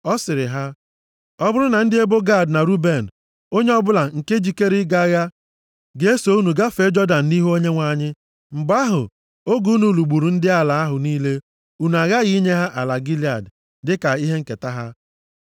Ọ sịrị ha, “Ọ bụrụ na ndị ebo Gad na Ruben, onye ọbụla nke jikere ịga agha, ga-eso unu gafee Jọdan nʼihu Onyenwe anyị, mgbe ahụ, oge unu lụgburu ndị ala ahụ niile, unu aghaghị inye ha ala Gilead dịka ihe nketa ha.